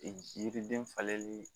Yiriden falenli